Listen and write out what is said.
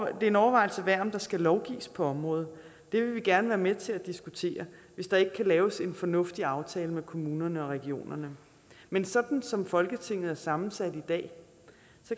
en overvejelse værd om der skal lovgives på området det vil vi gerne være med til at diskutere hvis der ikke kan laves en fornuftig aftale med kommunerne og regionerne men sådan som folketinget er sammensat i dag